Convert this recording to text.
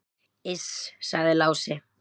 """Iss, sagði Lási."""